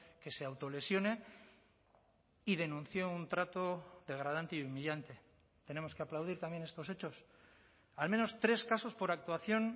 que se autolesione y denunció un trato degradante y humillante tenemos que aplaudir también estos hechos al menos tres casos por actuación